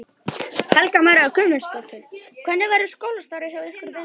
Helga María Guðmundsdóttir: Hvernig verður skólastarfið hjá ykkur í vetur?